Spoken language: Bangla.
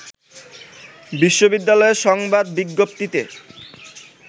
বিশ্ববিদ্যালয়ের সংবাদ বিজ্ঞপ্তিতে